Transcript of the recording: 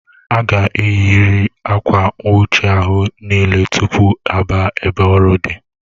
Aga eyi riri Akwa nwuchi ahụ n'ile tupu a baa ebe ọrụ dị